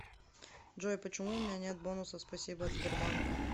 джой почему уменя нет бонусов спасибо от сбербанка